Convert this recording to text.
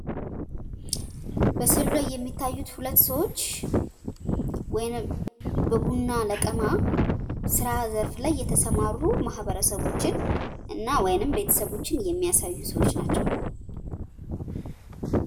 በስዕሉ ላይ የሚታዩት ሁለት ሰዎች ወይም በቡና ለቀማ ስራ ዘርፍ ላይ የተሰማሩ ማህበረሰቦችን እና ወይም ቤተሰቦችን የሚያሳዩ ሰዎች ናቸው።